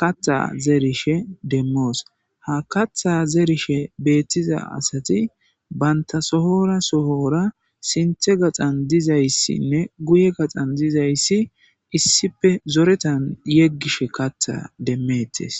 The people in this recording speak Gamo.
katha zerishe demos , ha katha zerishe betiza asati banta sohora sohora sinthe gaxan dizaysinne guye gaxan dizaysi issippe zoretan yegishe katha demetes.